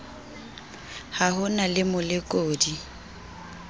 ha ho na le molekodi